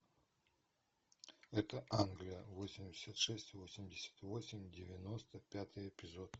это англия восемьдесят шесть восемьдесят восемь девяносто пятый эпизод